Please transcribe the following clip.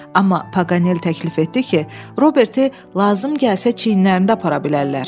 Amma Paqanel təklif etdi ki, Roberti lazım gəlsə çiyinlərində apara bilərlər.